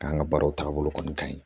K'an ka baaraw taabolo kɔni ka ɲi